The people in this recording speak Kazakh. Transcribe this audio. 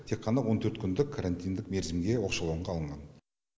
тек қана он төрт күндік карантиндік мерзімге оқшауланға алынған